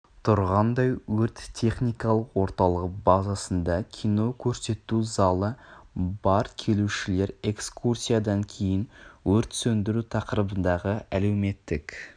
тұрғандай өрт-техникалық орталығы базасында кино көрсету залы бар келушілер экскурсиядан кейін өрт сөндіру тақырыбындағы әлеуметтік